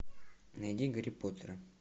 найди гарри поттера